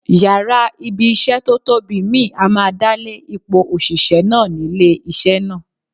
Yàrá ibi-iṣẹ́ tó tóbi mìíì á máa dálé ipò òṣìṣẹ́ náà nílé iṣẹ́ náà.